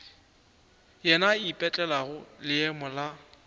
yena a ipetlelago leemo la